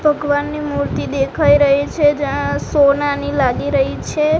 ભગવાનની મૂર્તિ દેખાય રહી છે જ્યાં સોનાની લાગી રહી છે.